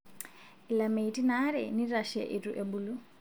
Ilameitin aare nitashe itu ebulu